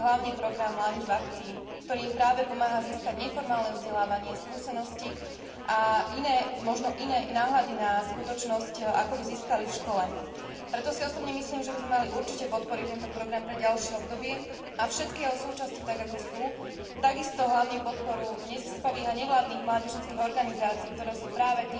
A to je hlavne program Mládež v akcii, ktorý im práve pomáha získať neformálne vzdelávanie, skúsenosti a možno i iné náhľady na skutočnosť, ako by získali v škole. Preto si osobne myslím, že by sme určite mali podporiť tento program pre ďalšie obdobie a všetky jeho súčasti tak, ako sú. Takisto hlavne podporu neziskových a mimovládnych mládežníckych organizácií, ktoré sú práve